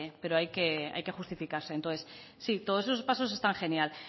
pero hay que justificarse entonces sí todos esos pasos están genial